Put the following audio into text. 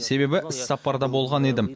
себебі іссапарда болған едім